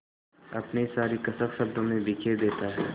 अपनी सारी कसक शब्दों में बिखेर देता है